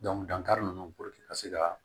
dankari ninnu ka se ka